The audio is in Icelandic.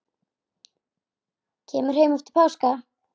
Kemur heim eftir páska.